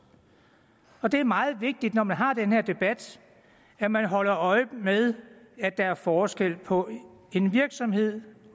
og det er meget vigtigt når man har den her debat at man holder øje med at der er forskel på en virksomhed